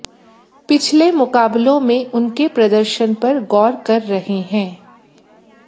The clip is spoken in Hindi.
पिछले मुकाबलों में उनके प्रदर्शन पर गौर कर रहे हैं